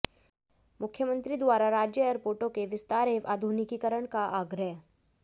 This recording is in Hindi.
मुख्यमंत्री द्वारा राज्य एयरपोर्टों के विस्तार एवं आधुनिकीकरण का आग्रह